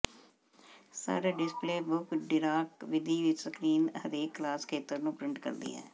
ਸਾਰੇ display book ਡਿਕਾਟ ਵਿਧੀ ਸਕ੍ਰੀਨ ਤੇ ਹਰੇਕ ਕਲਾਸ ਖੇਤਰ ਨੂੰ ਪ੍ਰਿੰਟ ਕਰਦੀ ਹੈ